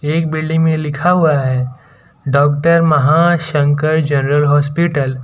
एक बिल्डिंग में लिखा हुआ है डॉक्टर महाशंकर जनरल हॉस्पिटल ।